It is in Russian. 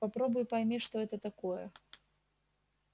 попробуй пойми что это такое